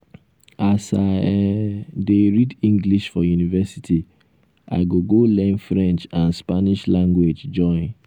as i um dey read english for university i go go learn french and spanish language join.